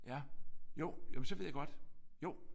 Ja jo jamen så ved jeg godt. Jo